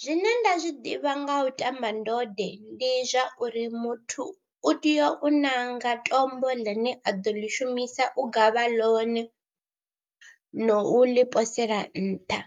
Zwine nda zwi ḓivha nga u ṱamba ndode ndi zwa uri muthu u tea u ṋanga tombo ḽine a ḓo ḽi shumisa u gavha ḽone, no u ḽi posela nṱha